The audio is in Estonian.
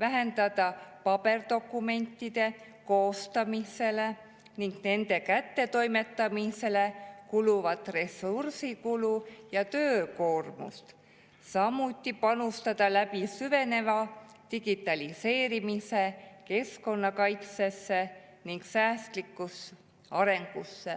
vähendada paberdokumentide koostamisele ning nende kättetoimetamisele kuluvat ressursikulu ja töökoormust, samuti panustada läbi süveneva digitaliseerimise keskkonnakaitsesse ning säästlikusse arengusse.